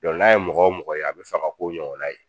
Dɔnku n'a ye mɔgɔ o mɔgɔ ye, a bɛ fɛ ka k'o ɲɔgɔnna ye.